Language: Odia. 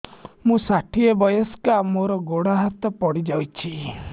ମୁଁ ଷାଠିଏ ବୟସ୍କା ମୋର ଗୋଡ ହାତ ପଡିଯାଇଛି